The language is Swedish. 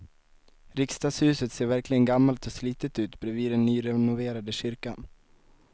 Riksdagshuset ser verkligen gammalt och slitet ut bredvid den nyrenoverade kyrkan.